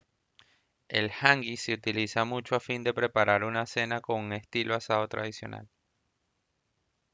el hangi se utiliza mucho a fin de preparar una cena con un estilo asado tradicional